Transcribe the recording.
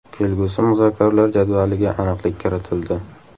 Kelgusi muzokaralar jadvaliga aniqlik kiritildi.